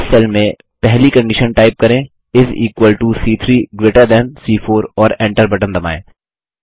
इस सेल में पहली कंडिशन टाइप करें इस इक्वल टो सी3 ग्रेटर थान सी4 और Enter बटन दबाएँ